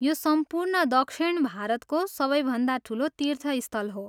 यो सम्पूर्ण दक्षिण भारतको सबैभन्दा ठुलो तीर्थस्थल हो।